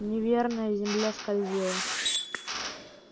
неверная земля скользила